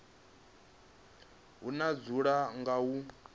o no dzula nga u